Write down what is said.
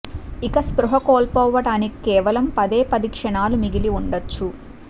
ఇక స్పృహ కోల్పోవటానికి కేవలం పదే పది క్షణాలు మిగిలి వుండొచ్చు